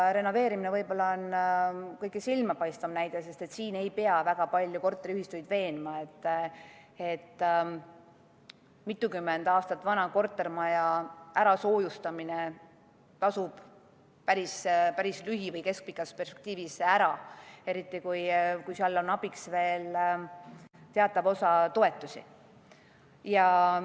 Renoveerimine on võib-olla kõige silmapaistvam näide, sest siin ei pea korteriühistuid väga palju veenma, et mitukümmend aastat vana kortermaja soojustamine tasub lühi- või keskpikas perspektiivis ära, eriti kui abiks on teatav osa toetusi.